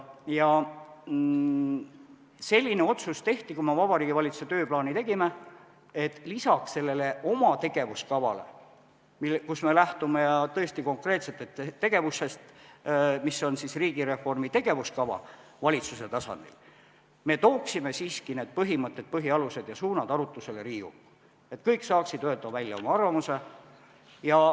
Tehti selline otsus, kui me Vabariigi Valitsuse tööplaani tegime, et lisaks sellele oma tegevuskavale, kus me lähtume tõesti konkreetsetest tegevustest, mis on riigireformi tegevuskava valitsuse tasandil, me tooksime siiski need põhimõtted, põhialused ja suunad arutlusele Riigikokku, et kõik saaksid öelda välja oma arvamuse.